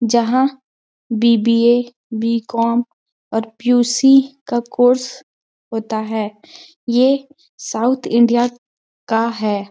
जहाँ BBA B Com और PUC का कोर्स होता है ये साउथ इंडिया का हैं।